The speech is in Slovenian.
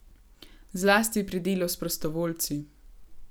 Zlasti pri delu s prostovoljci.